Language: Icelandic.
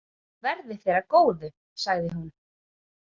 Verði þér að góðu, sagði hún.